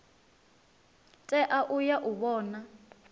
tea u ya u vhona